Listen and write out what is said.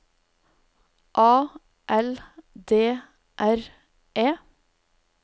A L D R E